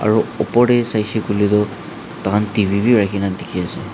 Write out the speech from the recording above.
ro opor tae saishey koilae tu tahan t v bi rakhina dikhiase.